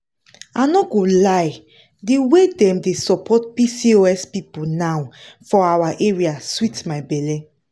i no go lie di way dem dey support pcos people now for our area sweet my belle.